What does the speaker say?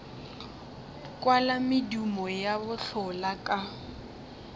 kwala medumo ya bohlola ka